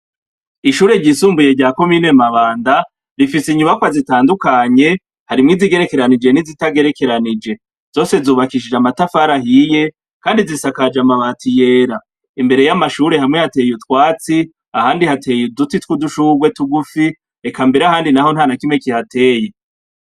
Ishure ryisumbuye rya komine Mabanda, rifise inyubakwa zitandukanye, harimwo izigerekeranije n'izitagerekeranije; zose zubakishije amatafari ahiye, kandi zisakaje amabati yera. Imbere y'amashure hateye utwatsi, ahandi hateye uduti tw'udushurwe tugufi, eka mbere ahandi naho nta nakimwe kihateye.